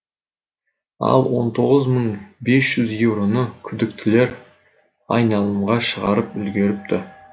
ал он тоғыз мың бес жүз еуроны күдіктілер айналымға шығарып үлгеріпті